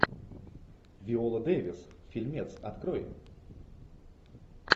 виола дэвис фильмец открой